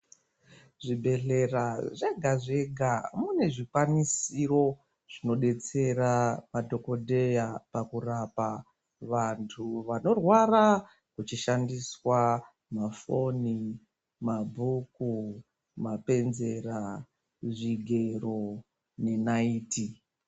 Zvibhedhleya zvega zvega mune zvikwanisiro zvinodetsera madhokodheya pakurapa vantu vanorwara pachishandiswa mafoni, mabhuku, mapenzera zvigero nenaiti.